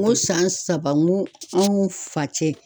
N ko san saba n ko anw fa cɛ.